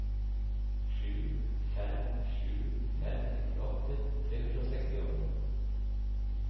sju fem sju fem nittiåtte tre hundre og sekstiåtte